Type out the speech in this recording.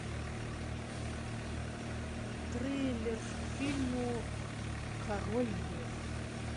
трейлер к фильму король лев